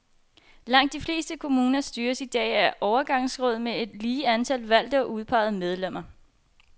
Langt de fleste kommuner styres i dag af overgangsråd med et lige antal valgte og udpegede medlemmer.